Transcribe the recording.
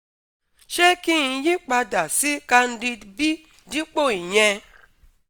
ṣé kí n yí padà sí Candid B dípò ìyẹn?